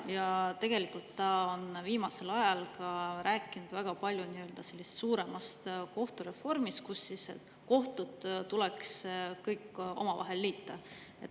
Ja tegelikult ta on viimasel ajal rääkinud väga palju ka nii-öelda suuremast kohtureformist, mille korral kohtud tuleks kõik omavahel liita.